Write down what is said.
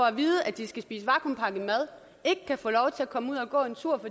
at vide at de skal spise vakuumpakket mad og ikke kan få lov til at komme ud og gå en tur